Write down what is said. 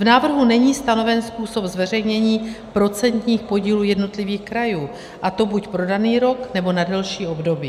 V návrhu není stanoven způsob zveřejnění procentních podílů jednotlivých krajů, a to buď pro daný rok, nebo na delší období.